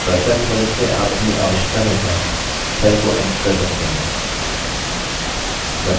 अब cursor की मदद से आप अपनी आवश्यकतानुसार cell को edit कर सकते हैं